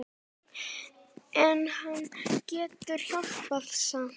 En hann getur hjálpað samt.